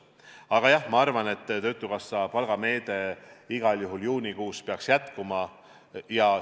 Aga jah, ma arvan, et töötukassa palgameede juunikuus peaks igal juhul jätkuma.